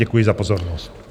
Děkuji za pozornost.